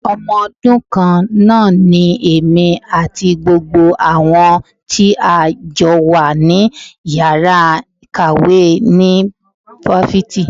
Ọmọ ọdún kan náà ni èmi àti gbogbo àwọn tí a jọ wà ní Ìyàrá ìkàwé ní Fáfitì.